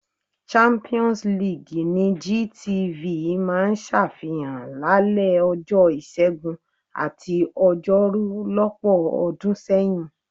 Champions league ni GTV máa ń ṣàfihàn lálẹ́ ọjọ́ Ìṣẹ́gun àti Ọjọ́rú lọ́pọ̀ ọdún sẹ́yìn.